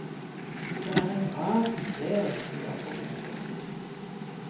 Det er et rart sted, sier professoren.